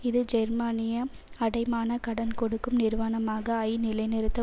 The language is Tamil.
இது ஜெர்மானிய அடைமான கடன் கொடுக்கும் நிறுவனமான ஐ நிலைநிறுத்த